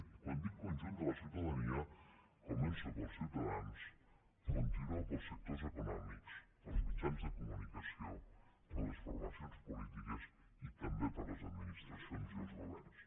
i quan dic el conjunt de la ciutadania començo pels ciutadans continuo pels sectors econòmics pels mitjans de comunicació per les formacions polítiques i també per les administracions i els governs